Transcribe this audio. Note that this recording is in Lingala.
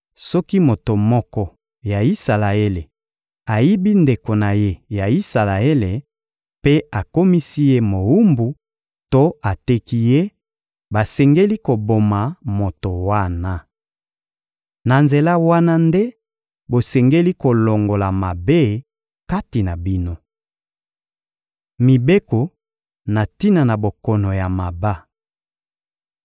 Soki moto moko ya Isalaele ayibi ndeko na ye ya Isalaele mpe akomisi ye mowumbu to ateki ye, basengeli koboma moto wana. Na nzela wana nde bosengeli kolongola mabe kati na bino. Mibeko na tina na bokono ya maba